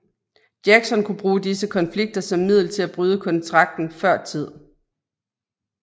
Jackson kunne bruge disse konflikter som middel til at bryde kontrakten før tid